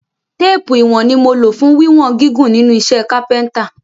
Téèpù ìwọ̀n ni mo lò fún wíwọn gígùn nínú iṣẹ́ kápẹ́ntà